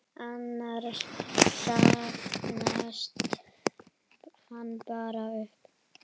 Annars safnast hann bara upp.